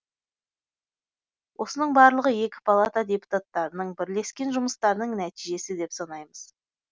осының барлығы екі палата депутаттарының бірлескен жұмыстарының нәтижесі деп санаймыз